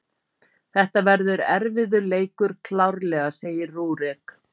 Þetta verður erfiður leikur, klárlega, segir Rúrik.